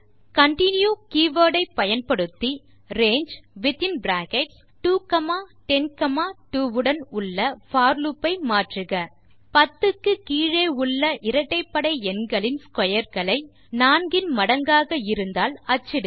continue keyword ஐ பயன்படுத்தி ரங்கே உடன் உள்ள போர் லூப் ஐ மாற்றுக 10 க்கு கீழே உள்ள இரட்டைப்படை எண்களின் ஸ்க்வேர் களை 4 இன் மடங்காக இருந்தால் அச்சிடுக